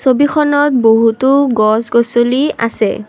ছবিখনত বহুতো গছ গছলি আছে।